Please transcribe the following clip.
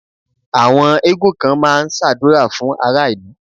Àwọn eégún kan ma ń ṣàdúrà fún ará ìlú.